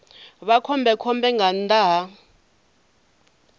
vha khombekhombe nga nnḓa ha